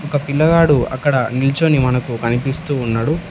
ఒక పిల్లగాడు అక్కడ నిల్చోని మనకు కనిపిస్తూ ఉన్నాడు.